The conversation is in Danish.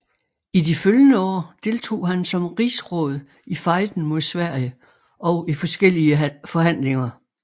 I de følgende år deltog han som rigsråd i fejden mod Sverige og i forskellige forhandlinger